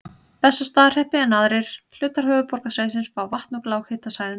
Bessastaðahreppi, en aðrir hlutar höfuðborgarsvæðisins fá vatn sitt úr lághitasvæðum í